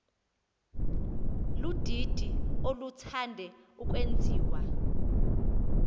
ludidi oluthande ukwenziwa